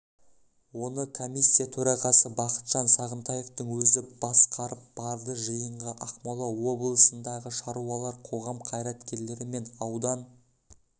оны комиссия төрағасы бақытжан сағынтаевтың өзі басқарып барды жиынға ақмола облысындағы шаруалар қоғам қайраткерлері мен аудан